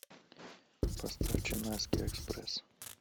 поставь ченнайский экспресс